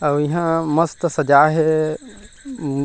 आऊ इहा मस्त सजाये हे अम्म--